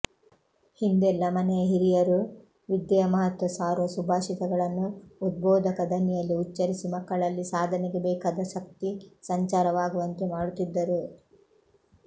ಹಿಂದೆಲ್ಲ ಮನೆಯ ಹಿರಿಯರು ವಿದ್ಯೆಯ ಮಹತ್ವ ಸಾರುವ ಸುಭಾಷಿತಗಳನ್ನು ಉದ್ಭೋಧಕ ದನಿಯಲ್ಲಿ ಉಚ್ಚರಿಸಿ ಮಕ್ಕಳಲ್ಲಿ ಸಾಧನೆಗೆ ಬೇಕಾದ ಶಕ್ತಿಸಂಚಾರವಾಗುವಂತೆ ಮಾಡುತ್ತಿದ್ದರು